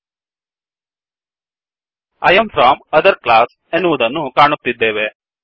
I am from other classಆಯ್ am from other class ಎನ್ನುವದನ್ನು ಕಾಣುತ್ತಿದ್ದೇವೆ